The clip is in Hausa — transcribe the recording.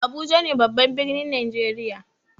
Abuja ne babban birnin najeriya.